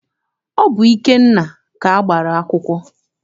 Ọ bụ Ikenna ka a gbara akwụkwọ.